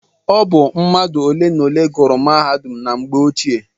Ọ bụ mmadụ ole na ole gùrù mahadum na mgbe ochie.